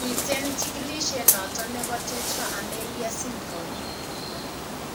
Miten chikilisiet noton nebo tetra amelia syndrome